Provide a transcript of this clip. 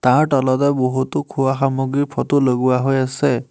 তাৰ তলতে বহুতো খোৱা সামগ্ৰীৰ ফটো লগোৱা হৈ আছে।